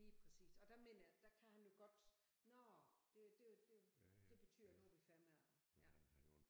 Lige præcist og der mener jeg der kan han jo godt nåh det det det det betyder nu er vi færdige med at ja